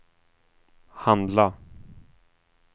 handla